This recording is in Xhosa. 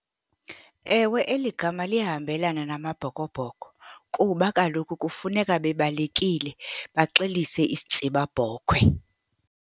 Ewe, eli gama liyahambelana namaBhokoBhoko kuba kaloku kufuneka bebalekile, baxelise isitsibabhokhwe.